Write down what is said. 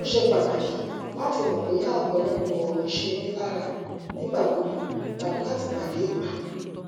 ó ṣe pàtàkì láti mọ bóyá ọpọlọpọ ọrọ ń ṣe mí lára nígbà gbogbo tàbí látìgbàdégbà